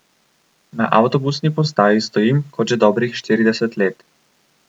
Na avtobusni postaji stojim kot že dobrih štirideset let.